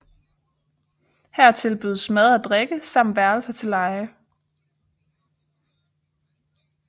Her tilbydes mad og drikke samt værelser til leje